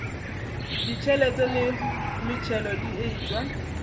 ditšhelete le metšhelo di etšwe